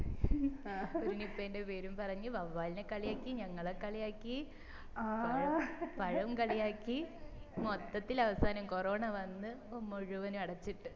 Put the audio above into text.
ഒരു നിപ്പേന്റെ പേരും പറഞ്ഞു വവ്വാലിനെ കളിയാക്കി ഞങ്ങളെ കളിയാക്കി പഴം പഴം കളിയാക്കി മൊത്തത്തിൽ അവസാനം കൊറോണ വന്ന് മുഴുവനും അടച്ചിട്ടു